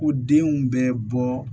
Ko denw bɛ bɔ